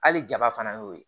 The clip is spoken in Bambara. Hali jaba fana y'o ye